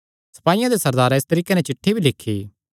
सपाईयां दे सरदारैं इस तरीके नैं चिठ्ठी भी लिखी